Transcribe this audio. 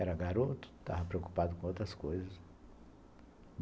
Era garoto, estava preocupado com outras coisas.